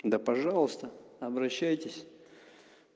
да пожалуйста обращайтесь